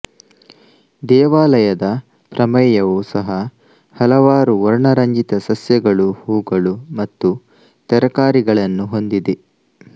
ದೇವಾಲಯದ ಪ್ರಮೇಯವೂ ಸಹ ಹಲವಾರು ವರ್ಣರಂಜಿತ ಸಸ್ಯಗಳು ಹೂಗಳು ಮತ್ತು ತರಕಾರಿಗಳನ್ನು ಹೊಂದಿದೆ